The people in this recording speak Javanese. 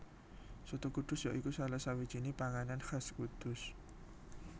Soto Kudus ya iku salah sawijiné panganan khas Kudus